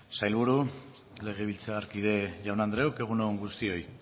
sailburu legebiltzarkide jaun andreok egun on guztioi